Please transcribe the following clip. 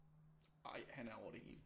Ej han er over det hele